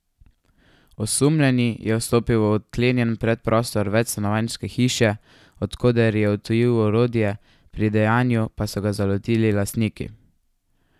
Osumljeni je vstopil v odklenjen predprostor večstanovanjske hiše, od koder je odtujil orodje, pri dejanju pa so ga zalotili lastniki.